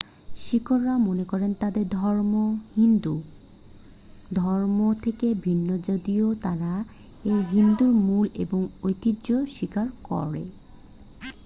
শিখরা মনে করে তাদের ধর্ম হিন্দু ধর্ম থেকে ভিন্ন যদিও তারা এর হিন্দু মূল এবং ঐতিহ্যকে স্বীকার করে